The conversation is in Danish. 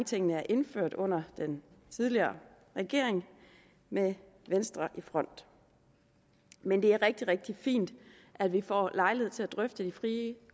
tingene er indført under den tidligere regering med venstre i front men det er rigtig rigtig fint at vi får lejlighed til at drøfte de frie